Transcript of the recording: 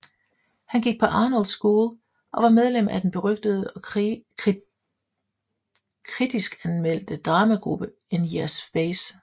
Han gik på Arnold School og var medlem af den berygtede og kritiskanmeldte dramagruppe In Yer Space